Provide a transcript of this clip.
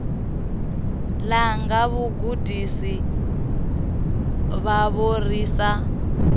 langa vhagudisi vhavho ri sa